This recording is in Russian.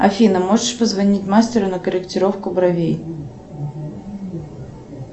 афина можешь позвонить мастеру на корректировку бровей